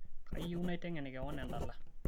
kayieu naitengen keon endala